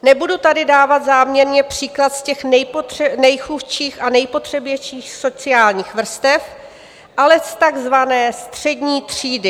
Nebudu tady dávat záměrně příklad z těch nejchudších a nejpotřebnějších sociálních vrstev, ale z takzvané střední třídy.